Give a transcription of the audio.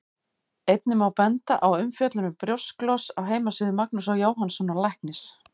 Einnig má benda á umfjöllun um brjósklos á heimasíðu Magnúsar Jóhannssonar læknis.